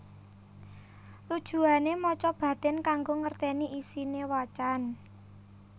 Tujuwane maca batin kanggo ngerteni isine wacan